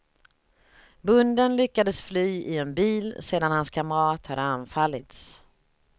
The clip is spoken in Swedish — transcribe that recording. Bonden lyckades fly i en bil sedan hans kamrat hade anfallits.